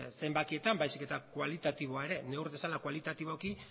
zenbakietan baizik eta kualitatiboa ere neur dezala kualitatiboki